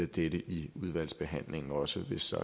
dette i udvalgsbehandlingen også hvis der